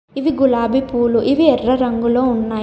ఇవి గులాబీ పూలు ఇవి ఎర్ర రంగులో ఉన్నాయి.